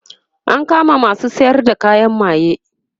an kama masu sayar da kayan maye